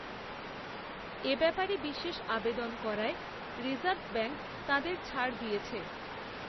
এ ব্যাপারে বিশেষআবেদন করায়রিজার্ভ ব্যাঙ্ক তাঁদের ছাড় দিয়েছে